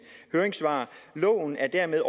høringssvar loven er dermed